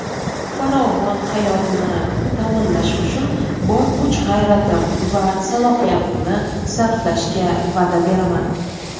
farovon hayotini ta’minlash uchun bor kuch-g‘ayratim va salohiyatimni sarflashga va’da beraman.